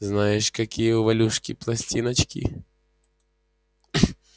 знаешь какие у валюшки пластиночки